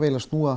að snúa